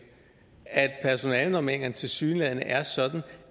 at personalenormeringerne tilsyneladende er sådan